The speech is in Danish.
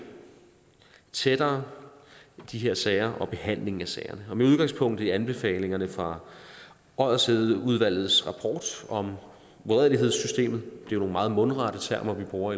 tættere de her sager og behandlingen af sagerne med udgangspunkt i anbefalingerne fra oddershedeudvalgets rapport om uredelighedssystemet det er nogle meget mundrette termer vi bruger